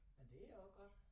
Men det også godt